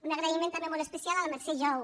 un agraïment també molt especial a la mercè jou